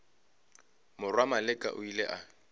morwa maleka o ile a